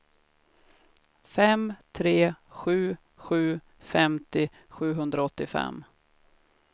fem tre sju sju femtio sjuhundraåttiofem